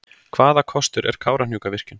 Hvaða kostur er Kárahnjúkavirkjun?